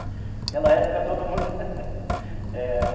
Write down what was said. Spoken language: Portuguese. Naquela época todo mundo era.